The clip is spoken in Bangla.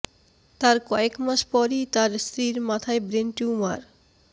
তার কয়েক মাস পরই তার স্ত্রীর মাথায় ব্রেন টিউমার